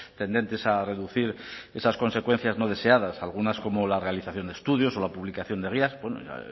tendentes a reducir esas consecuencias no deseadas algunas como la realización de estudios o la publicación de guías bueno ya